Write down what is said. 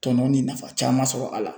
Tɔnɔ ni nafa caman sɔrɔ a la